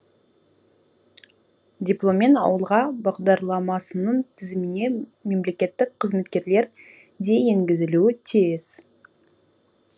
дипломмен ауылға бағдарламасының тізіміне мемлекеттік қызметкерлер де енгізілуі тиіс